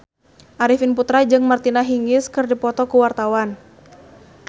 Arifin Putra jeung Martina Hingis keur dipoto ku wartawan